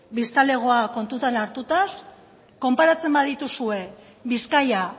biztanlegoa kontutan hartuta konparatzen badituzue bizkaia